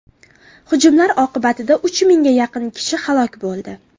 Hujumlar oqibatida uch mingga yaqin kishi halok bo‘ldi.